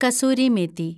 kasuri methi